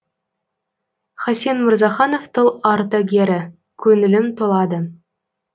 хасен мырзаханов тыл ардагері көңілім толады